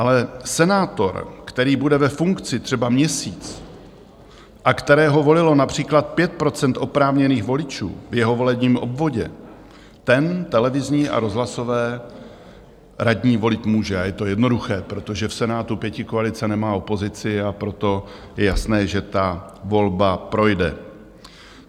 Ale senátor, který bude ve funkci třeba měsíc a kterého volilo například 5 % oprávněných voličů v jeho volebním obvodě, ten televizní a rozhlasové radní volit může, a je to jednoduché, protože v Senátu pětikoalice nemá opozici, a proto je jasné, že ta volba projde.